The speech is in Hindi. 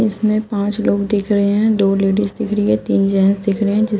इसमें पांच लोग दिख रहे हैं। दो लेडिस दिख रही है तीन जेंट्स दिख रहे हैं जिस --